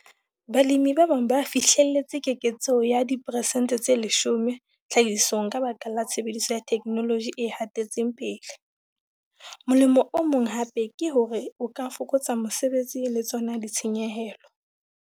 Balemi ba bang ba fihlelletse keketseho ya diperesente tse 10 tlhahisong ka baka la tshebediso ya theknoloji e hatetseng pele. Molemo o mong hap eke hore o ka fokotsa mosebetsi le tsona ditshenyehelo.